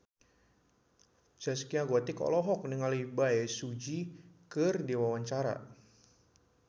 Zaskia Gotik olohok ningali Bae Su Ji keur diwawancara